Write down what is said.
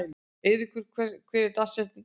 Eyríkur, hver er dagsetningin í dag?